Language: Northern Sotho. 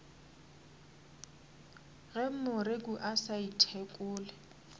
ge moreku a sa ithekole